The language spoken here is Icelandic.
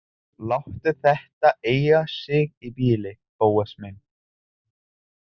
Láttu þetta eiga sig í bili, Bóas minn.